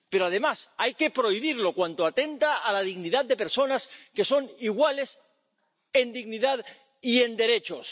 Pero, además, hay que prohibirlo cuando atenta contra la dignidad de personas, que son iguales en dignidad y en derechos.